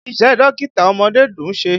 Iṣẹ́ dókítà ọmọdé dùn ṣe.